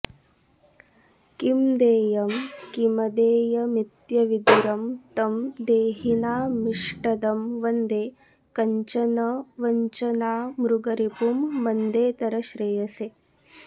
किं देयं किमदेयमित्यविदुरं तं देहिनामिष्टदं वन्दे कञ्चन वञ्चनामृगरिपुं मन्देतरश्रेयसे